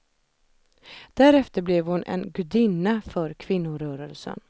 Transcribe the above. Därefter blev hon en gudinna för kvinnorörelsen.